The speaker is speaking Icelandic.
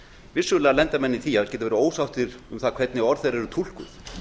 vissulega lenda menn í því að geta verið ósáttir um hvernig orð þeirra eru túlkuð